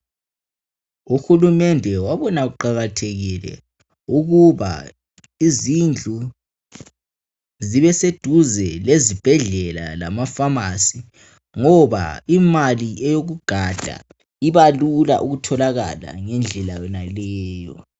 Uhulumende wabona kuqakathekile ukuba izindlu zibeseduze lezibhedlela lamafasi. Ngoba imali yokuganda iba lula ukutholakala ngendlela yenaleyo.